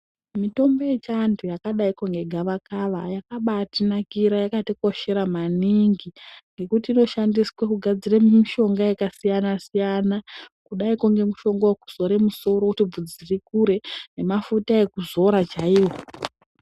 Mitombo yechiantu yakadaiko ngegavakava yakabatinakira, yakatikoshera maningi ngekuti inoshandiswe kugadzire mishonga yakasiyana siyana, kudaiko ngemishonga wekuzore musoro kuti bvudzi rikure, nemafuta ekuzora chaiwo.